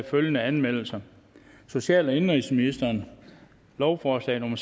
følgende anmeldelser social og indenrigsministeren lovforslag nummer